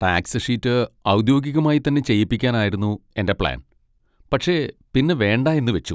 Tax sheet ഔദ്യോഗികമായി തന്നെ ചെയ്യിപ്പിക്കാനായിരുന്നു എൻ്റെ പ്ലാൻ, പക്ഷെ പിന്നെ വേണ്ടാ എന്നു വെച്ചു.